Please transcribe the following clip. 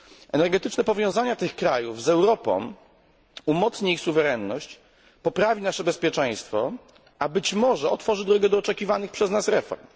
Energetyczne powiązanie tych krajów z Europą umocni ich suwerenność, poprawi nasze bezpieczeństwo, a być może otworzy drogę do oczekiwanych przez nas reform.